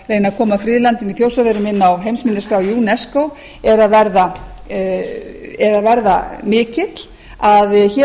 að koma friðlandinu í þjórsárverum inn á heimsminjaskrá unesco er að verða mikill að hér